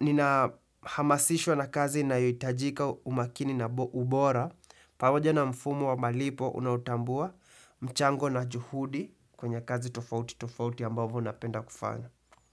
nina hamasishwa na kazi na yotajika umakini na ubora, pamoja na mfumo wa malipo unautambua mchango na juhudi kwenye kazi tofauti tofauti ambavo unapenda kufanya.